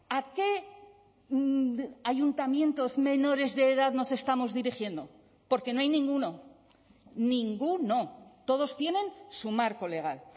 a qué ayuntamientos menores de edad nos estamos dirigiendo porque no hay ninguno ninguno todos tienen su marco legal